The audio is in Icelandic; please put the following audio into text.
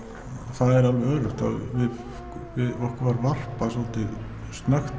það er alveg öruggt að okkur var varpað snöggt